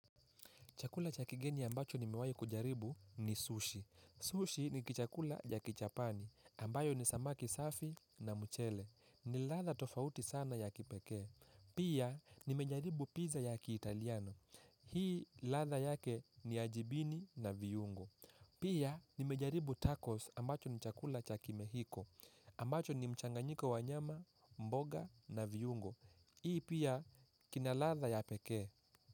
Chakula cha kigeni ambacho nimewahi kujaribu ni sushi. Sushi ni kichakula ya kijapani, ambayo ni samaki safi na mchele. Ni ladha tofauti sana ya kipekee. Pia nimejaribu pizza ya kitaliano. Hii ladha yake ni ya jibini na viungo. Pia nimejaribu tacos ambacho ni chakula chakimehiko. Ambacho ni mchanganyiko wa nyama, mboga na viungo. Hii pia kina ladha ya pekee.